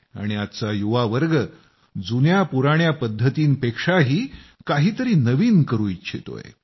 आणि आजचा युवावर्ग जुन्या पुराण्या पद्धतींपेक्षाही काही तरी नवीन करू इच्छितोय